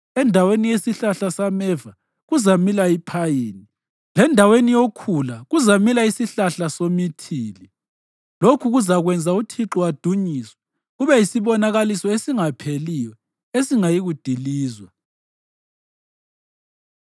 Endaweni yesihlahla sameva kuzamila iphayini, lendaweni yokhula kuzamila isihlahla somithili. Lokhu kuzakwenza uThixo adunyiswe, kube yisibonakaliso esingapheliyo, esingayikudilizwa.”